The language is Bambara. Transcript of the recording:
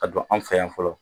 Ka don an fɛ yan fɔlɔ